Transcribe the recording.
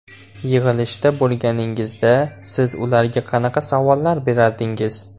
Yig‘ilishda bo‘lganingizda, siz ularga qanaqa savollar berardingiz?